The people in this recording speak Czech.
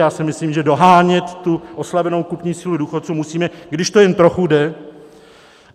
Já si myslím, že dohánět tu oslabenou kupní sílu důchodců musíme, když to jen trochu jde.